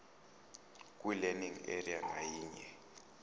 kwilearning area ngayinye